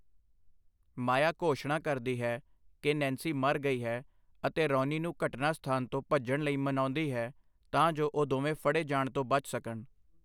ਮਾਇਆ ਘੋਸ਼ਣਾ ਕਰਦੀ ਹੈ ਕਿ ਨੈਂਸੀ ਮਰ ਗਈ ਹੈ ਅਤੇ ਰੌਨੀ ਨੂੰ ਘਟਨਾ ਸਥਾਨ ਤੋਂ ਭੱਜਣ ਲਈ ਮਨਾਉਂਦੀ ਹੈ ਤਾਂ ਜੋ ਉਹ ਦੋਵੇਂ ਫੜੇ ਜਾਣ ਤੋਂ ਬਚ ਸਕਣ।